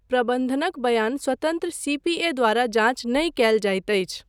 प्रबन्धनक बयान स्वतन्त्र सी.पी.ए. द्वारा जाँच नहि कयल जाइत अछि।